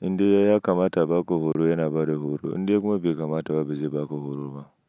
Indai ya kamata abaka horo, yana bada horo inda kuma bai kamata ba, ba zai ba ka horo ba.